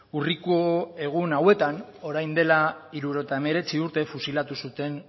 urriko egun hauetan orain dela hirurogeita hemeretzi urte fusilatu zuten